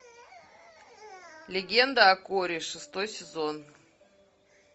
легенда о корре шестой сезон